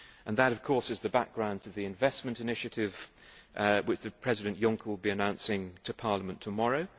That, of course, is the background to the investment initiative, which President Juncker will be announcing to Parliament tomorrow